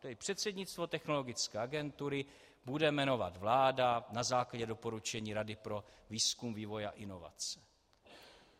Tedy předsednictvo Technologické agentury bude jmenovat vláda na základě doporučení Rady pro výzkum, vývoj a inovace.